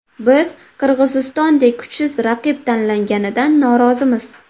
Biz Qirg‘izistondek kuchsiz raqib tanlanganidan norozimiz.